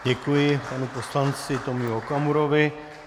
Děkuji panu poslanci Tomiu Okamurovi.